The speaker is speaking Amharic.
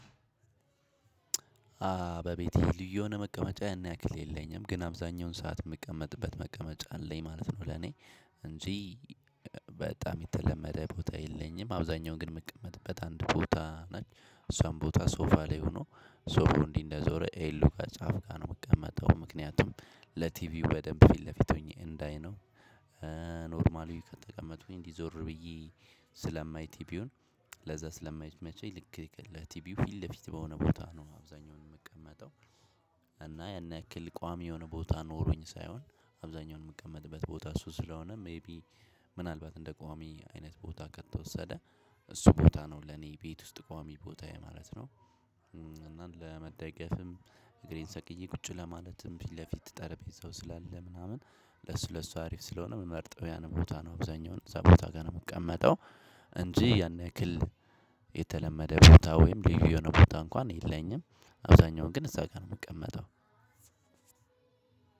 በቤቴ ልዩ የሆነ መቀመጫ ያን ያክል መቀመጫ የለኝም ግን አብዛኛውን ሰዓት የምቀመጥበት መቀመጫ አለኝ ማለት ነው ለኔ እንጂ በጣም የተለመደ ቦታ የለኝም። አብዛኛውን ግን መቀመጥበት አንድ ቦታ ነች እሷም ቦታ ሶፋ ላይ ሆኖ ሶፉ እንዲህ እንደዞረ ኤሉ ጋ ጫፍ ጋር ነው የምቀመጠው ምክንያቱም ለቲቪው በደንብ ፊት ለፊት ሆኜ እንዳይ ነው። ኖርማሊው ከተቀመጡኝ እንዲህ እንዲዞር ብዬ ስለማይ ቲቢውን ለዛ ስለማይመቸኝ ልክ ለቲቢው ፊት ለፊት በሆነ ቦታ ነው አብዛኛውን የምቀመጠው። እና ያን ያክል ቋሚ የሆነ ቦታ ኖሮኝ ሳይሆን አብዛኛውን የምቀመጥበት ቦታ እሱ ስለሆነ ሜይቢ ምናልባት እንደ ቋሚ አይነት ቦታ ከተወሰደ እሱ ቦታ ነው ለኔ ቤት ውስጥ ቋሚ ቦታዬ ማለት ነው። እና ለመደገፍም እግሬን ሰቅዬ ቁጭ ለማለትም ፊት ለፊት ጠረጴዛው ስላለ ምናምን ለሱ ለሱ አሪፍ ስለሆነ የምመርጠው ያን ቦታ ነው እብዛኛውን እዛ ቦታ ጋር ነው ምቀመጠው። እንጂ ያን ያክል የተለመደ ቦታ ወይም ልዩ የሆነ ቦታ እንኳን የለኝም አብዛኛውን ግን እዛ ጋር ነው የምቀመጠው።